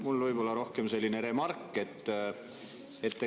Mul on võib-olla pigem remark.